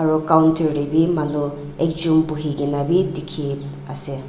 aru counter tae bi manu ekjon buhikaena bi dikhi ase.